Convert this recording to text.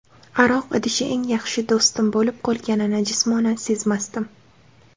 Aroq idishi eng yaxshi do‘stim bo‘lib qolganini jismonan sezmasdim.